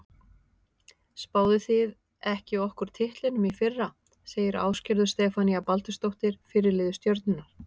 Spáðuð þið ekki okkur titlinum í fyrra? segir Ásgerður Stefanía Baldursdóttir, fyrirliði Stjörnunnar.